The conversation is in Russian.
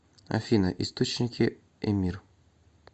афина источники эмир